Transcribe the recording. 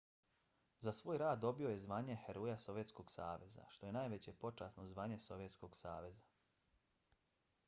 za svoj rad je dobio zvanje heroja sovjetskog saveza što je najveće počasno zvanje sovjetskog saveza